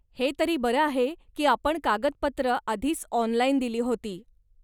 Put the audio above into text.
हे तरी बरं आहे की आपण कागदपत्र आधीच ऑनलाइन दिली होती.